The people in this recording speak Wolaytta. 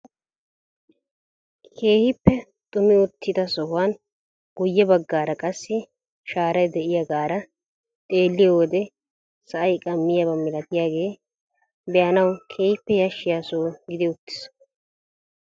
Keehippe xumi uttida sohuwan guyye baggaara qassi shaaray de'iyaagara xeelliyo wode sa'ay qammiyaaba malatiyaage be'anawu keehippe yashshiya soho gidi uttiis.